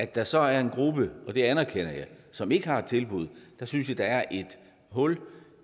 der så er en gruppe og det anerkender jeg som ikke har et tilbud synes jeg der er et hul